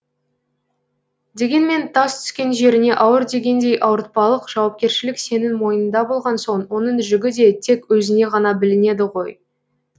дегенмен тас түскен жеріне ауыр дегендей ауыртпалық жауапкершілік сенің мойныңда болған соң оның жүгі де тек өзіңе ғана білінеді ғой